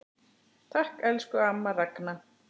Takk, elsku amma Ragna.